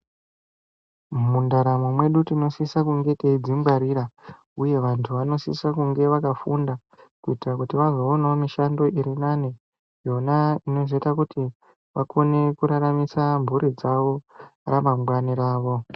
Mundaramo mwedu tinosisa kunge teidzi ngwarira uye vantu vanosise kunge vakafunda kuita kuti vazo onawo mushando iri nane yona inozoita kuti vakone ku raramisa mburi dzavo ra mangwani ravo.